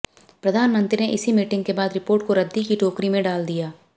प्रधानमंत्री ने इसी मीटिंग के बाद रिपोर्ट को रद्दी की टोकरी में डाल दिया